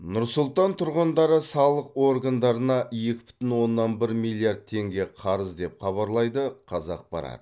нұр сұлтан тұрғындары салық органдарына екі бүтін оннан бір миллиард теңге қарыз деп хабарлайды қазақпарат